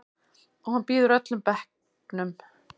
Og hann býður öllum bekknum.